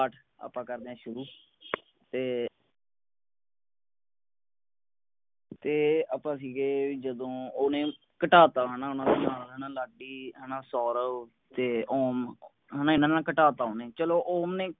ਅੱਜ ਆਪਾ ਕਰਦੇ ਆ ਸ਼ੁਰੁ ਤੇ ਤੇ ਆਪਾਂ ਸੀਗੇ ਵੀ ਜਦੋਂ ਓਨੇ ਘਟਾ ਤਾ ਹੈਨਾ ਓਹਨਾ ਦੇ ਨਾਲ ਰਹਿਨਾ ਲਾਡੀ ਹੈਨਾ ਸੌਰਵ ਤੇ ਓਮ ਹੁਣ ਇਹਨਾਂ ਨਾਲ ਘਟਾਤਾ ਓਨੇ ਚਲੋ ਓ ਓਹਨੇ